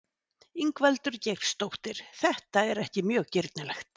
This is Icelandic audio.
Ingveldur Geirsdóttir: Þetta er ekkert mjög girnilegt?